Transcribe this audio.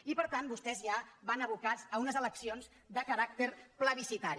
i per tant vostès ja van abocats a unes eleccions de caràcter plebiscitari